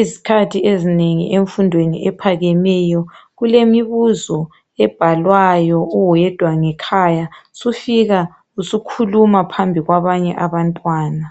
Izikhathi ezinengi emfundweni ephakemeyo kulemibuzo ebhalwayo uwedwa ngekhaya sufika usukhuluma phambi kwabanye abantwana.